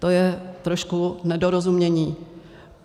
To je trošku nedorozumění.